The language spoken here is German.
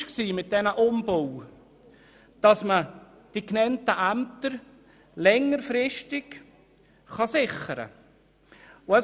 Das Ziel dieser Umbauten war es, die genannten Ämter längerfristig zu sichern.